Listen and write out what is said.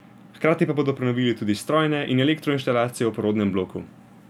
Hkrati pa bodo prenovili tudi strojne in elektroinštalacije v porodnem bloku.